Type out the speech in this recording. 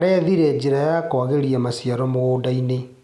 Arethire njĩra ya kwagĩria maciaro mũgũndainĩ.